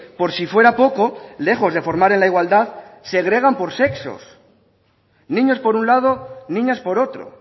por si fuera poco lejos de formar en la igualdad segregan por sexos niños por un lado niñas por otro